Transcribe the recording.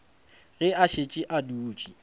ge a šetše a dutše